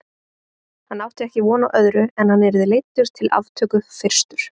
Hann átti ekki von á öðru en hann yrði leiddur til aftöku fyrstur.